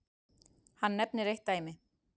Hann nefnir eitt dæmi.